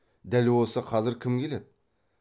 дәл осы қазір кім келеді